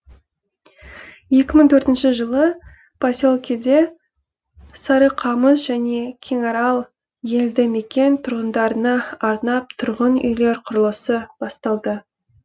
екі мың төртінші жылы поселкеде сарықамыс және кеңарал елді мекен тұрғындарына арнап тұрғын үйлер құрылысы басталды